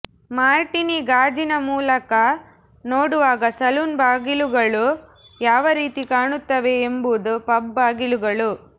Martini ಗಾಜಿನ ಮೂಲಕ ನೋಡುವಾಗ ಸಲೂನ್ ಬಾಗಿಲುಗಳು ಯಾವ ರೀತಿ ಕಾಣುತ್ತವೆ ಎಂಬುದು ಪಬ್ ಬಾಗಿಲುಗಳು